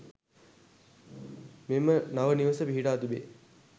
මෙම නව නිවස පිහිටා තිබේ.